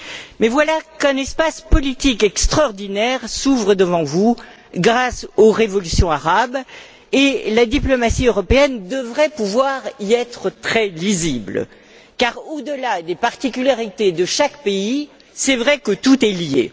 Mais voilà qu'un espace politique extraordinaire s'ouvre devant vous grâce aux révolutions arabes, et la diplomatie européenne devrait pouvoir y être très lisible, car au delà des particularités de chaque pays, il est vrai que tout est lié.